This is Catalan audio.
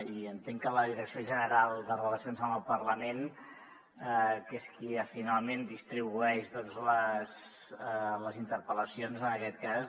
i entenc que la direcció general de relacions institucionals i amb el parlament que és qui finalment distribueix doncs les interpel·lacions en aquest cas